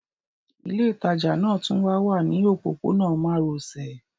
Ilé ìtajà náà tún wá wà ní òpópónà márosẹ̀